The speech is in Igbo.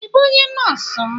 I bụ ónyé nọọsụ,m